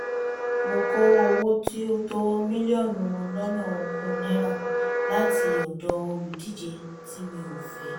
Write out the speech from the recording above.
mo kọ owó tí ó tó mílíọ̀nù lọ́nà ogún náírà láti ọ̀dọ̀ olùdíje tí mi ò fẹ́